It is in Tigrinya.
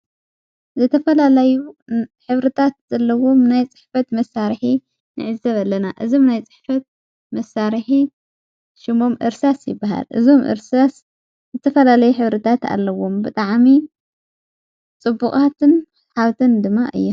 ዘተላለይ ኅብርታት ዘለዉም ናይ ጽሕበት መሣርእየንዕዘብ ኣለና እዞም ናይ ጽሕፈት መሣርሕ ሽሙም እርሳስ ይበሃር እዞም ርስ ዘተፈላለይ ኅብርታት ኣለዉም ብጠዓሚ ጽቡቓትን ሓዉትን ድማ እየን።